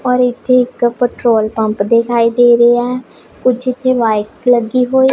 ਔਰ ਇੱਥੇ ਇੱਕ ਪੈਟ੍ਰੋਲ ਪੰਪ ਦਿਖਾਈ ਦੇ ਰਿਹਾ ਹੈ ਕੁੱਛ ਇੱਥੇ ਬਾਇਕਸ ਲੱਗੀ ਹੋਈ